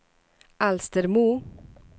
Alstermo